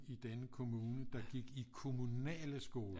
I denne kommune der gik i kommunale skoler